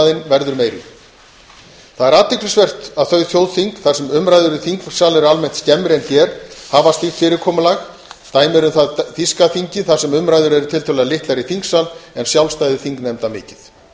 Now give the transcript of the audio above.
verður meiri athyglisvert er að þau þjóðþing þar sem umræður í þingsal eru almennt skemmri en hér hafa slíkt fyrirkomulag dæmi um það er þýska þingið þar sem umræður eru tiltölulega litlar í þingsal en sjálfstæði þingnefnda mikið